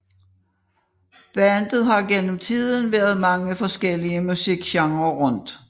Bandet har gennem tiden været mange forskellige musikgenrer rundt